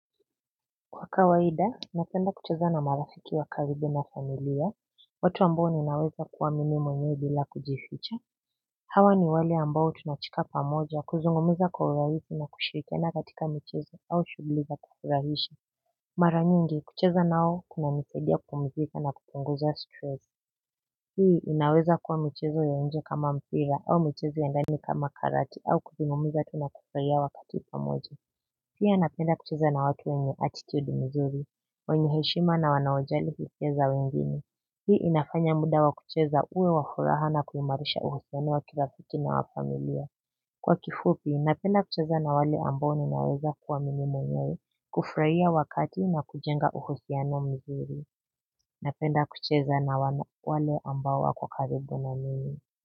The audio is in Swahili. Kwa kawaida napenda kucheza na marafiki wa karibu na familia watu ambao ninaweza kua mimi mwenyewe bila kujificha hawa ni wale ambao tunacheka pamoja kuzungumuza kwa urahisi na kushirikiana katika michezo au shughli za kufurahisha mara nyingi kucheza nao kunanisaidia kupumzika na kupunguza stress hii inaweza kuwa michezo ya nje kama mpira au michezo ya ndani kama karate au kuzungumza tu na kufuraia wakati pamoja. Pia napenda kucheza na watu wenye attitude mzuri. Wenye heshima na wanaojali hisia za wengine. Hii inafanya muda wa kucheza uwe wa furaha na kuimarisha uhusiano wa kirafiki na wa familia. Kwa kifupi napenda kucheza na wale ambao ninaweza kua mimi mwenye kufraia wakati na kujenga uhusiano mzuri. Napenda kucheza na wale ambao wako karibu na mimi.